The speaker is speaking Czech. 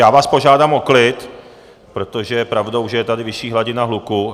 Já vás požádám o klid, protože je pravdou, že je tady vyšší hladina hluku.